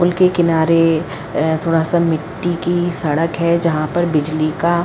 पुल के किनारे ए थोड़ा सा मिट्टी की सड़क है जहाँ पर बिजली का --